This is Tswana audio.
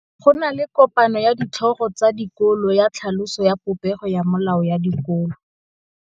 Go na le kopanô ya ditlhogo tsa dikolo ya tlhaloso ya popêgô ya melao ya dikolo.